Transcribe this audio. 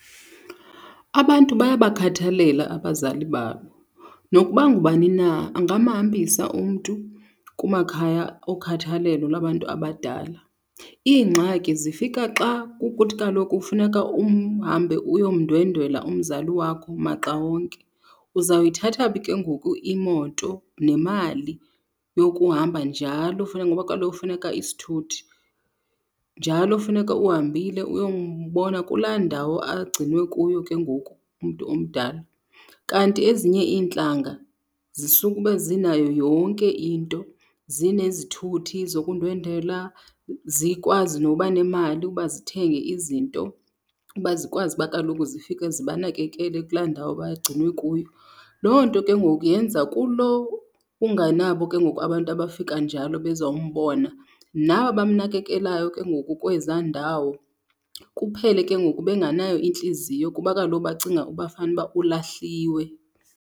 Abantu bayabakhathalela abazali babo. Nokuba ngubani na angamhambisa umntu kumakhaya okhathalelo labantu abadala. Iingxaki zifika xa kukuthi kaloku kufuneka uhambe uyomndwendwela umzali wakho maxa wonke. Uzayithatha phi ke ngoku imoto nemali yokuhamba njalo, funeka, ngoba kaloku funeka isithuthi. Njalo funeka uhambile uyombona kulaa ndawo agcinwe kuyo ke ngoku umntu omdala. Kanti ezinye iintlanga zisukube zinayo yonke into. Zinezithuthi zokundwendwela, zikwazi noba nemali ukuba zithenge izinto uba zikwazi kuba kaloku zifike zibanakekele kulaa ndawo bagcinwe kuyo. Loo nto ke ngoku yenza kulo ungenabo ke ngoku abantu abafika njalo bezombona nabamnakekelayo ke ngoku kwezaa ndawo kuphele ke ngoku benganayo intliziyo kuba kaloku bacinga uba fanuba ulahliwe.